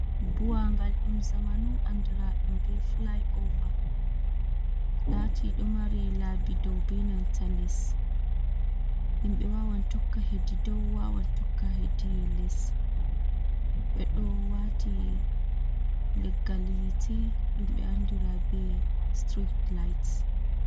Buwangal ɗum zamanu andira ɗum be fulai ova, lati ɗon mari labi dow benanta les, himɓe wawan tokka hedi dow wawan tokka hedi les, ɓeɗo wati leggal yite ɗumɓe andira be sitirit layit.